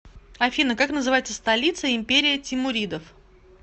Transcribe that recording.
афина как называется столица империя тимуридов